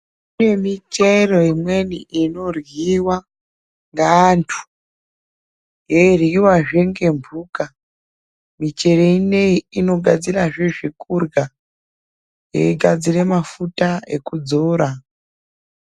Kune michero imweni inorhiwa navantu ichirhiwazve ngemhuka, ichero inoyi inogadzirazve zvekurha igadzirazve mafuta ekuzora.